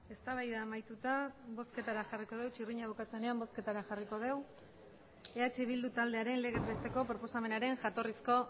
eztabaida amaituta bozketara jarriko dut txirrina bukatzen denean bozketara jarriko dugu eh bildu taldearen legez besteko proposamenaren jatorrizko